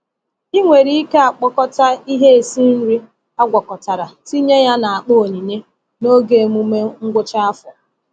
Ị nwere ike akpọkọta ihe esi nri agwakọtara tinye ya n’akpa onyinye n’oge emume ngwụcha afọ.